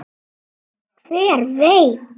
Hver veit